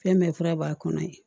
Fɛn bɛɛ fura b'a kɔnɔ ye